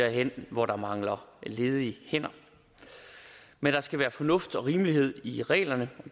hen hvor der mangler ledige hænder men der skal være fornuft og rimelighed i reglerne